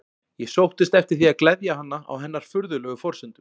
Ég sóttist eftir því að gleðja hana á hennar furðulegu forsendum.